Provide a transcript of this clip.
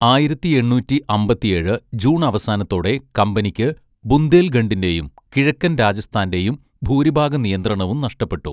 ആയിരത്തി എണ്ണൂറ്റി അമ്പത്തിയേഴ് ജൂൺ അവസാനത്തോടെ, കമ്പനിക്ക് ബുന്ദേൽഖണ്ഡിന്റെയും കിഴക്കൻ രാജസ്ഥാന്റെയും ഭൂരിഭാഗ നിയന്ത്രണവും നഷ്ടപ്പെട്ടു.